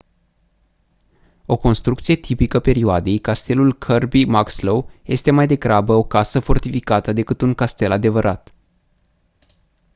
o construcție tipică perioadei castelul kirby muxloe este mai degrabă o casă fortificată decât un castel adevărat